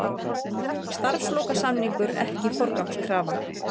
Starfslokasamningur ekki forgangskrafa